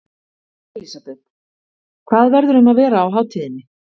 Elísabet: Hvað verður um að vera á hátíðinni?